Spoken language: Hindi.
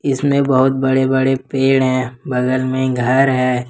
इसमें बहुत बड़े बड़े पेड़ है बगल में घर है।